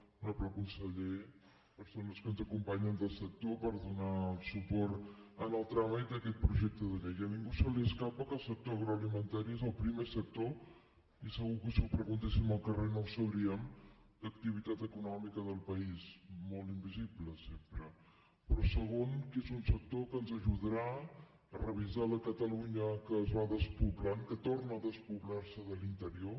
honorable conseller persones que ens acompanyen del sector per donar el suport en el tràmit d’aquest projecte de llei a ningú se li escapa que el sector alimentari és el primer sector i segur que ho preguntéssim al carrer no ho sabrien d’activitat econòmica del país molt invisible sempre però segon que és un sector que ens ajudarà a revisar la catalunya que es va despoblant que torna a despoblar se de l’interior